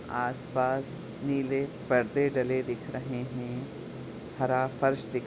आस पास नीले पर्दे डले दिख रहे है हरा फर्स दिख--